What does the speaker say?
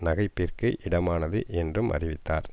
நகைப்பிற்கு இடமானது என்றும் அறிவித்தார்